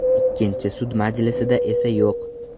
Ikkinchi sud majlisida esa yo‘q.